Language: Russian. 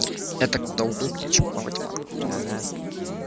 это куда удобнее чем плавать в англию